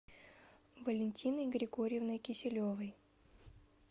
валентиной григорьевной киселевой